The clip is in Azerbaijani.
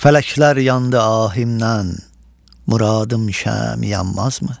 Fələklər yandı ahimdən, Muradım şəmi yanmazmı?